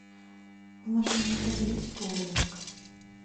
в нашем отеле есть боулинг